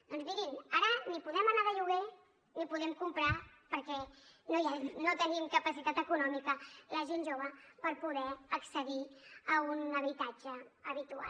doncs mirin ara ni podem anar de lloguer ni podem comprar perquè no tenim capacitat econòmica la gent jove per poder accedir a un habitatge habitual